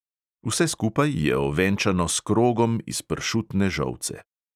Vse skupaj je ovenčano s krogom iz pršutne žolce.